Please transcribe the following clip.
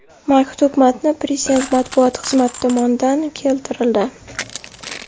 Maktub matni Prezident matbuot xizmati tomonidan keltirildi .